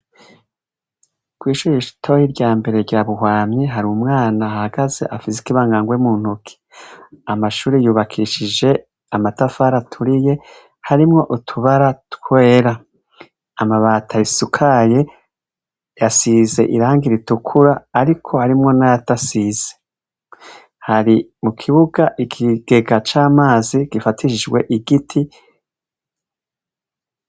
ku'ishure ritoyi rya mbere rya buhwamyi hari umwana ahagaze afise ibangangwe mu ntuki amashuri yubakishije amatafara aturiye harimwo utubara twera. Amabati ayisakaye yasize irangi ritukura ariko harimwo nayatasize hari mu kibuga ikigega cy'amazi gifatishijwe igiti.